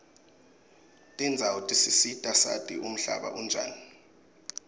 tendzawo tisisita sati umhlaba unjani